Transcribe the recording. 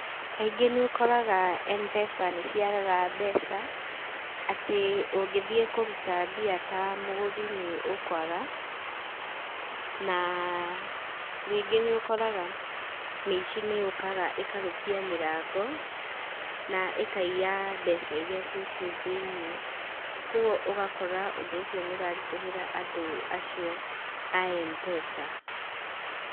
Kaingĩ nĩũkoraga m-pesa nĩciagaga mbeca, atĩ ũngĩthiĩ kũruta mbia ta mũgũri nĩ ũkwaga, na rĩngĩ nĩũkoraga mĩici nĩyũkaga ĩkarũkia mĩrango na ĩkaiya mbeca iria ciĩ kũu thĩiniĩ. Koguo ũgakora ũndũ ũcio nĩ ũraritũhĩra andũ acio a m-pesa.